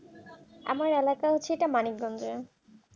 আমার এলাকা হচ্ছে এটা মানিকগঞ্জে